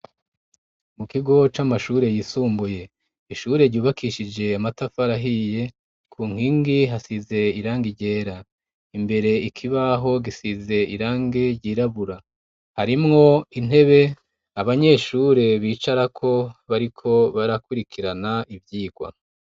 mu kigo c'amashure yisumbuye ishure ryubakishije amatafarahiye ku nkingi hasize irange iryera imbere ikibaho gisize irangi ryirabura harimwo intebe abanyeshure bicara ko bariko barakurikirana ibyigwa